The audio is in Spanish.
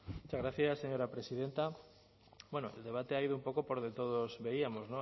muchas gracias señora presidenta bueno el debate ha ido un poco por donde todos veíamos